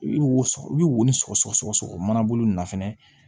I bɛ woson i bɛ woson sɔgɔ sɔgɔ sɔgɔ mana bolo na fɛnɛ